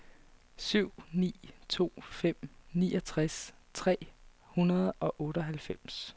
syv ni to fem niogtres tre hundrede og otteoghalvfems